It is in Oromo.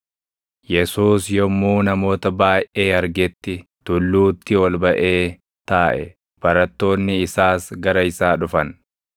Yesuus yommuu namoota baayʼee argetti, tulluutti ol baʼee taaʼe. Barattoonni isaas gara isaa dhufan;